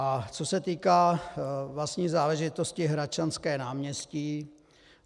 A co se týká vlastní záležitosti Hradčanské náměstí.